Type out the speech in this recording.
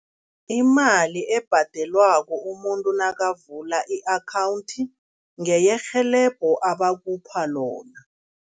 Imali ebhadelwako umuntu nakavula i-akhawundi ngeyerhelebho abakupha lona.